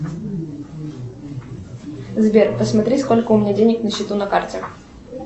сбер посмотри сколько у меня денег на счету на карте